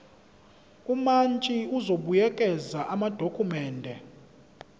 umantshi uzobuyekeza amadokhumende